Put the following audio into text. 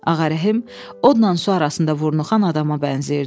Ağa Rəhim odla su arasında vurnuxan adama bənzəyirdi.